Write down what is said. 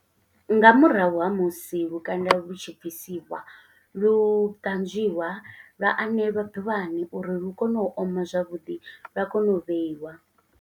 Nga murahu ha musi lukanda lu tshi bvisiwa, lu ṱanzwiwa, lwa anelwa ḓuvhani uri lu kone u oma zwavhuḓi, lwa kone u vheiwa.